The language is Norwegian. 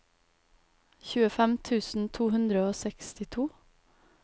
tjuefem tusen to hundre og sekstito